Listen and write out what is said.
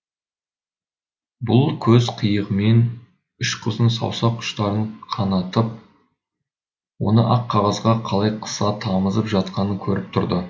бұл көз қиығымен үш қыздың саусақ ұштарын қанатып оны ақ қағазға қалай қыса тамызып жатқанын көріп тұрды